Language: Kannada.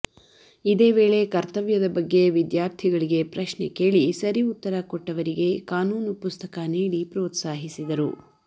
ಇದೆ ವೇಳೆ ಕರ್ತವ್ಯದ ಬಗ್ಗೆ ವಿದ್ಯಾರ್ಥಿಗಳಿಗೆ ಪ್ರಶ್ನೆ ಕೇಳಿ ಸರಿ ಉತ್ತರ ಕೊಟ್ಟವರಿಗೆ ಕಾನೂನು ಪುಸ್ತಕ ನೀಡಿ ಪ್ರೋತ್ಸಹಿಸಿದರು